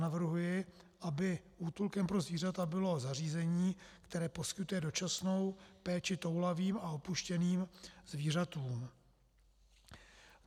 Navrhuji, aby útulkem pro zvířata bylo zařízení, které poskytuje dočasnou péči toulavým a opuštěným zvířatům.